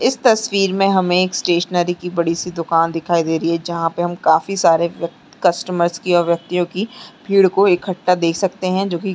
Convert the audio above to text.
इस तस्वीर में हमें एक स्टेशनरी की बड़ी सी दुकान दिखाई दे रही है जहां पर हम काफी सारे व्य कस्टमर्स की और व्यक्तियों की भीड़ को इकट्ठा देख सकते हैं जो की--